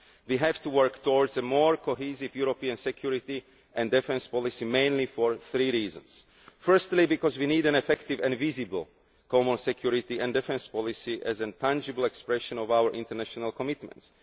We have to work towards a more cohesive European security and defence policy mainly for three reasons. Firstly, because we need an effective and visible common security and defence policy as a tangible expression of our international commitments